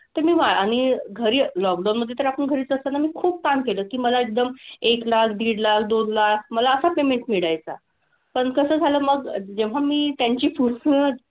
ते मी आणि घरी lockdown मधे तर आपण घरीच असताना मी खूप काम केलं की मला एकदम एक लाख, दीड लाख, दोन लाख, मला असा payment मिळायचा. पण कसं झालं मग जेव्हा मी त्यांची पुस्तक,